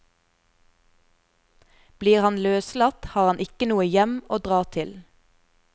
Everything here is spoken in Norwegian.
Blir han løslatt har han ikke noe hjem å dra til.